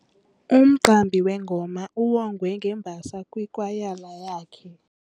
Umqambi wengoma uwongwe ngembasa kwikwayala yakhe.